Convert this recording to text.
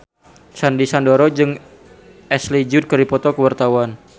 Sandy Sandoro jeung Ashley Judd keur dipoto ku wartawan